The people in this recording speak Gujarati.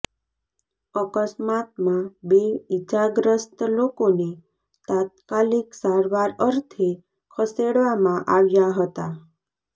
અકસ્માતમાં બે ઇજાગ્રસ્ત લોકોને તાત્કાલિક સારવાર અર્થે ખસેડવામાં આવ્યા હતા